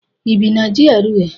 ị bi na GRA?